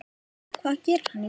Hvað gerir hann í dag?